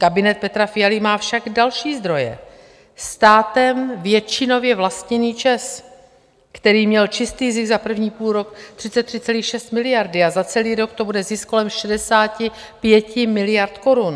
Kabinet Petra Fialy má však další zdroje - státem většinově vlastněný ČEZ, který měl čistý zisk za první půlrok 33,6 miliardy a za celý rok to bude zisk kolem 65 miliard korun.